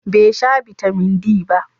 Bai sha Bitamin D ba.